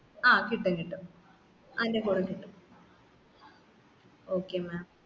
ആ കിട്ടുംകിട്ടും അയിന്റെ കൂടെ കിട്ടും